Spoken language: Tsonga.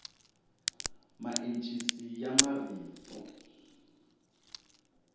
maencisi ya marito